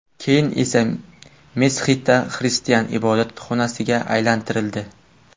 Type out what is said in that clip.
Keyin esa Meskita xristian ibodatxonasiga aylantirildi.